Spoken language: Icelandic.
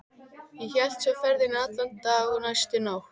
Og hélt svo ferðinni allan þann dag og næstu nótt.